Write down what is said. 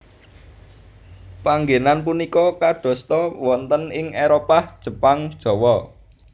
Panggènan punika kadosta wonten ing Éropah Jepang Jawa